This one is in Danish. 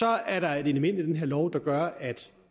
er der et element i den her lov der gør at